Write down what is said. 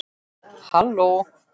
Halló